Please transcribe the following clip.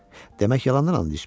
Demək yalandan and içmisən.